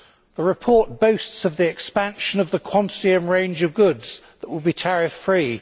The report boasts of the expansion of the quantity and range of goods that will be tariff free.